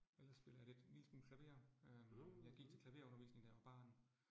Ellers spiller jeg lidt en lille smule klaver, øh jeg gik til klaverundervisning, da jeg var barn